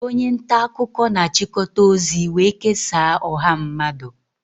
Onye nta akụkọ na-achịkọta ozi wee kesaa ọha mmadụ